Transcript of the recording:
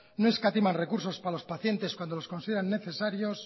no escatiman recursos para los pacientes cuando los consideran necesarios